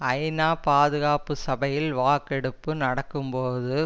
ஐநா பாதுகாப்பு சபையில் வாக்கெடுப்பு நடக்கும் போது